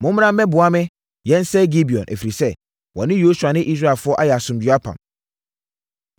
“Mommra mmɛboa me na yɛnsɛe Gibeon, ɛfiri sɛ, wɔne Yosua ne Israelfoɔ ayɛ asomdwoeɛ apam.”